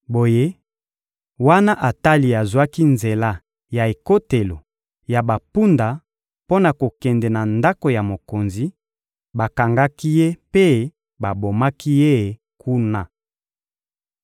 Boye, wana Atali azwaki nzela ya ekotelo ya bampunda mpo na kokende na ndako ya mokonzi, bakangaki ye mpe babomaki ye kuna.